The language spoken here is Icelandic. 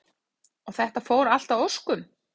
Elísabet Hall: Og þetta fór allt að óskum?